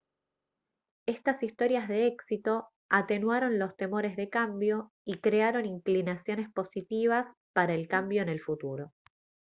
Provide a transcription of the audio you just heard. estas historias de éxito atenuaron los temores de cambio y crearon inclinaciones positivas para el cambio en el futuro